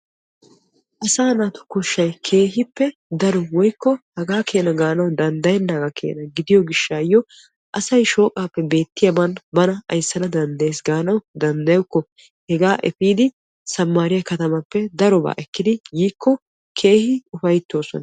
Asaa naatu koshshay keehippe daro woykko hagaa keenaa gaanawu danddayenaa keenaa gidiyoo giishshayoo asay shooqappe beettiyaagan bana ayssana danddayees gaanawu danddayokko hegaa epiidi sammariyaa katamaappe darobaa ekkidi yiikko daruwaa ufayttoosona.